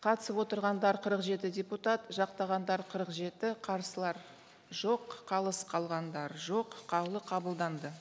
қатысып отырғандар қырық жеті депутат жақтағандар қырық жеті қарсылар жоқ қалыс қалғандар жоқ қаулы қабылданды